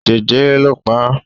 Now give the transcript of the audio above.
Jẹjẹrẹ ló pa á.